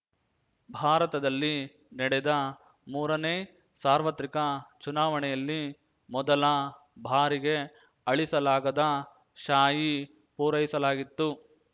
ಭಾರತದಲ್ಲಿ ನಡೆದ ಮೂರನೇ ಸಾರ್ವತ್ರಿಕ ಚುನಾವಣೆಯಲ್ಲಿ ಮೊದಲ ಬಾರಿಗೆ ಅಳಿಸಲಾಗದ ಶಾಯಿ ಪೂರೈಸಲಾಗಿತ್ತು